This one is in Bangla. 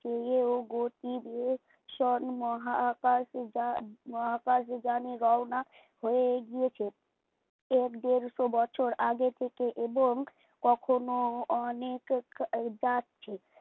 চেয়েও গতিবেগ শোন্ মহাকাশ যা মহাকাশজনে রহনা হয়ে গিয়েছে। এর দেড়শো বছর আগের থেকেই এবং কখনো অনেক ক যাচ্ছে